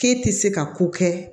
K'e tɛ se ka ko kɛ